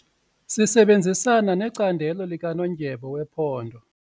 Sisebenzisana necandelo likanondyebo wephondo.